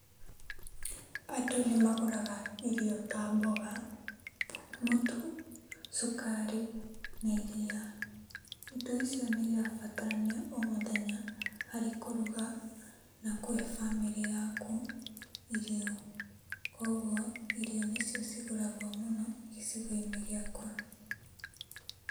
Andũ nĩmagũraga irio ta mboga, mũtu, cukari na iriia. Indo icio nĩirabatarania o mũthenya harĩ kũruga na kũhe bamĩrĩ yaku irio. Kuoguo, irio nĩcio cigũragwo mũno gĩcigo-inĩ gĩakwa.